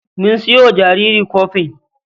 Mun sayo wa jaririn kofin.